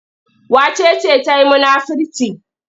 Wace ce ta yi munafirci?